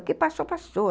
O que passou, passou.